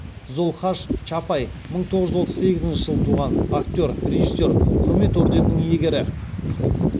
зұлхаш чапай мың тоғыз жүз отыз сегізінші жылы туған актер режиссер құрмет орденінің иегері